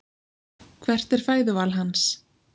Hvert er fæðuval hans?